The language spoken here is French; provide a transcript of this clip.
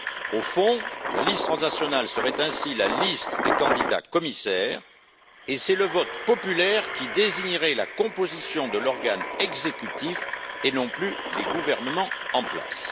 Au fond, la liste transnationale serait ainsi la liste des candidats commissaires et c'est le vote populaire qui désignerait la composition de l'organe exécutif et non plus les gouvernements en place.